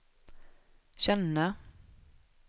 känna